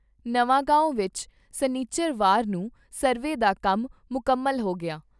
ਨਵਾਗਾਉਂ ਵਿਚ ਸਨਿਚਰਵਾਰ ਨੂੰ ਸਰਵੇ ਦਾ ਕੰਮ ਮੁਕੰਮਲ ਹੋ ਗਿਆ।